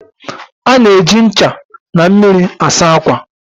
A na-eji ncha na mmiri asa ákwà